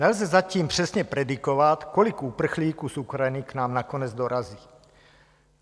Nelze zatím přesně predikovat, kolik uprchlíků z Ukrajiny k nám nakonec dorazí.